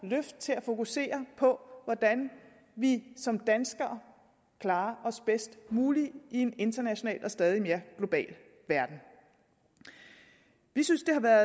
løft til at fokusere på hvordan vi som danskere klarer os bedst muligt i en international og stadig mere global verden vi synes det har været